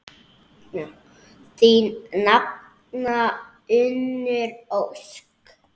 Þín nafna, Unnur Ósk.